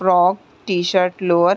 frock T-shirt lower --